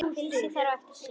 Flysjið þær þá fyrir suðu.